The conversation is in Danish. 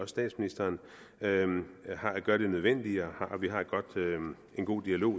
statsministeren gør det nødvendige og vi har en god dialog